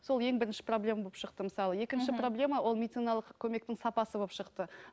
сол ең бірінші проблема болып шықты мысалы екінші проблема ол медициналық көмектің сапасы болып шықты